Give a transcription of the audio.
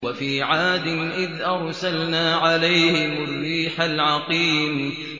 وَفِي عَادٍ إِذْ أَرْسَلْنَا عَلَيْهِمُ الرِّيحَ الْعَقِيمَ